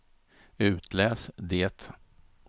itläs det